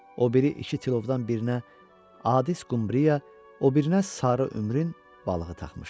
O biri iki tilovdan birinə adis qumbriya, o birinə sarı ümrün balığı taxmışdı.